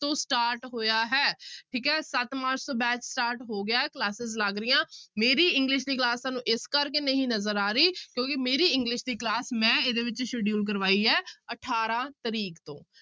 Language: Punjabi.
ਤੋਂ start ਹੋਇਆ ਹੈ ਠੀਕ ਹੈ ਸੱਤ ਮਾਰਚ ਤੋਂ batch start ਹੋ ਗਿਆ ਹੈ classes ਲੱਗ ਰਹੀਆਂ, ਮੇਰੀ english ਦੀ class ਤੁਹਾਨੂੰ ਇਸ ਕਰਕੇ ਨਹੀਂ ਨਜ਼ਰ ਆ ਰਹੀ ਕਿਉਂਕਿ ਮੇਰੀ english ਦੀ class ਮੈਂ ਇਹਦੇ ਵਿੱਚ schedule ਕਰਵਾਈ ਹੈ ਅਠਾਰਾਂ ਤਰੀਕ ਤੋਂ।